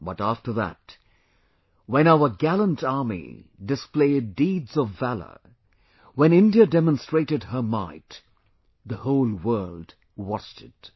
But after that, when our gallant Army displayed deeds of valour, when India demonstrated her might the whole world watched it